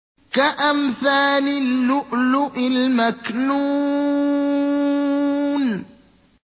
كَأَمْثَالِ اللُّؤْلُؤِ الْمَكْنُونِ